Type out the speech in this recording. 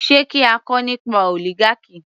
Sé kí a kọ nípa oligarchy